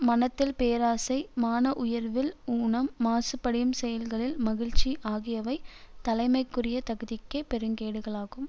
மனத்தில் பேராசை மான உணர்வில் ஊனம் மாசுபடியும் செயல்களில் மகிழ்ச்சி ஆகியவை தலைமைக்குரிய தகுதிக்கே பெருங்கேடுகளாகும்